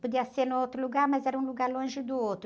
Podia ser em outro lugar, mas era um lugar longe do outro.